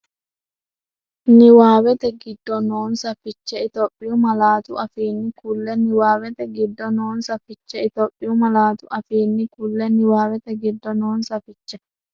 Niwaawete giddo noonsa fiche Itophiyu malaatu afiinni kulle Niwaawete giddo noonsa fiche Itophiyu malaatu afiinni kulle Niwaawete giddo noonsa fiche.